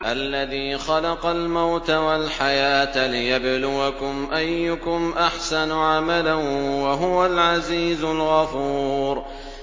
الَّذِي خَلَقَ الْمَوْتَ وَالْحَيَاةَ لِيَبْلُوَكُمْ أَيُّكُمْ أَحْسَنُ عَمَلًا ۚ وَهُوَ الْعَزِيزُ الْغَفُورُ